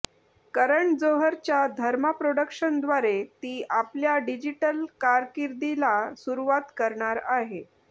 करण जोहरच्या धर्मा प्रॉडक्शनद्वारे ती आपल्या डिजीटल कारकिर्दीला सुरुवात करणार आहे